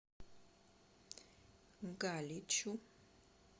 галичу